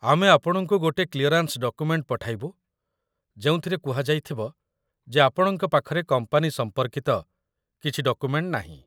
ଆମେ ଆପଣଙ୍କୁ ଗୋଟେ କ୍ଲିୟରାନ୍ସ ଡକୁମେଣ୍ଟ ପଠାଇବୁ ଯେଉଁଥିରେ କୁହାଯାଇଥିବ ଯେ ଆପଣଙ୍କ ପାଖରେ କମ୍ପାନୀ ସମ୍ପର୍କିତ କିଛି ଡକୁମେଣ୍ଟ ନାହିଁ ।